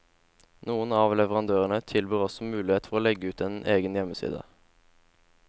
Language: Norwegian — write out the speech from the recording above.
Noen av leverandørene tilbyr også muligheter for å legge ut en egen hjemmeside.